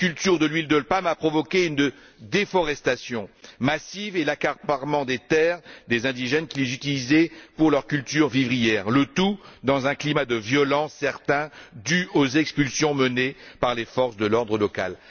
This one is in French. Cette culture de l'huile de palme a provoqué une déforestation massive et l'accaparement des terres des indigènes, qui les utilisaient pour leurs cultures vivrières, le tout dans un climat de violence certain dû aux expulsions menées par les forces de l'ordre locales.